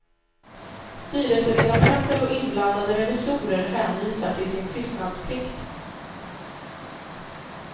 Styrelseledamöter och inblandade revisorer hänvisar till sin tystnadsplikt.